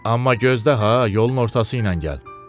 Amma gözdə ha, yolun ortası ilə gəl.